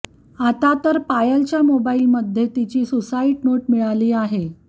आता तर पायलच्या मोबाइलमध्ये तिची सुसाइड नोट मिळाली आहे